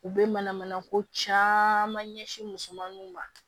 U bɛ mana mana ko caman ɲɛsin musomaninw ma